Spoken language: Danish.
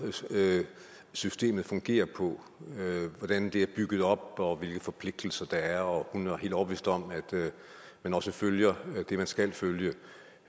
systemet fungerer på hvordan det er bygget op og hvilke forpligtelser der er og hun er helt overbevist om at man også følger det man skal følge